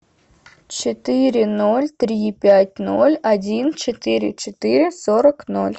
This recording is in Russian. четыре ноль три пять ноль один четыре четыре сорок ноль